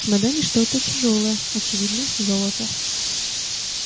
в чемодане что-то тяжёлое очевидно золото